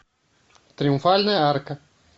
триумфальная арка